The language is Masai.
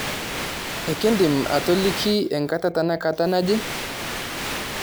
ekindim atoliki enkata tenakata nji